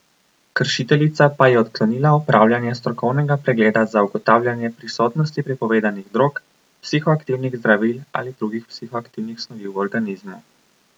Kršiteljica pa je odklonila opravljanje strokovnega pregleda za ugotavljanje prisotnosti prepovedanih drog, psihoaktivnih zdravil ali drugih psihoaktivnih snovi v organizmu.